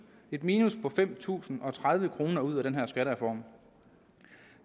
et minus på fem tusind og tredive kroner ud af den her skattereform